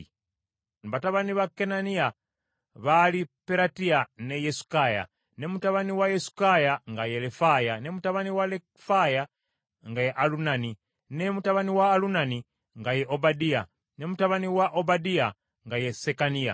Batabani ba Kananiya baali Peratiya ne Yesukaya, ne mutabani wa Yesukaya nga ye Lefaya, ne mutabani wa Lefaya nga ye Alunani, ne mutabani wa Alumani nga ye Obadiya, ne mutabani wa Obadiya nga ye Sekaniya.